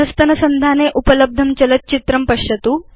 अधस्तनसंधाने उपलब्धं चलच्चित्रं पश्यतु